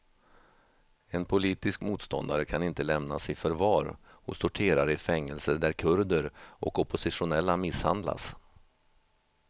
En politisk motståndare kan inte lämnas i förvar hos torterare i fängelser där kurder och oppositionella misshandlas.